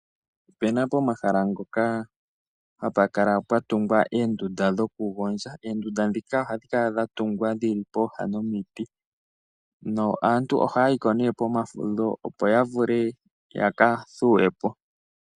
Opena pomahala ngoka hapukala pwandungwa oondunda dhokugondja, oondunda dhika ohadhi kala dhatungwa dhili pooha nomiti na aantu ohaya yi ko ne pomafudho opo yavule yakathuwe po.